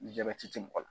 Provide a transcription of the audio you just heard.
Ni jabɛti te mɔgɔ la